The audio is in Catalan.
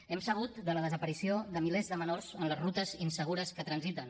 hem sabut de la desaparició de milers de menors en les rutes insegures que transiten